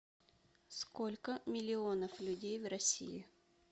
сколько миллионов людей в россии